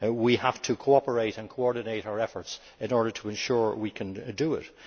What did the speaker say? We have to cooperate and coordinate our efforts in order to ensure we can do it.